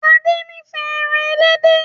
Ade n'ifẹ èràn elédè.